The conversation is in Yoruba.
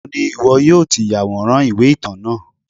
níbo ni iwọ yọọ ti yaworan iwe-itan náá?